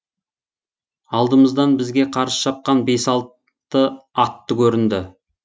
алдымыздан бізге қарсы шапқан бес алты атты көрінді